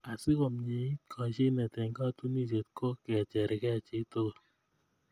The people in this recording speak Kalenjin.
asikomieit koshinet eng katunisiet ko kochergei chitugul